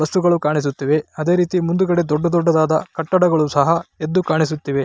ವಸ್ತುಗಳು ಕಾಣಿಸುತ್ತಿವೆ ಅದೇ ರೀತಿ ಮುಂದು ಗಡೆ ದೊಡ್ಡ ದೊಡ್ಡದಾದ ಕಟ್ಟಡಗಳು ಸಹ ಎದ್ದು ಕಾಣಿಸುತ್ತಿದೆ.